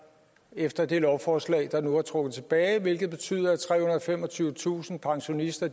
efter det lovforslag der nu er trukket tilbage hvilket betyder at trehundrede og femogtyvetusind pensionister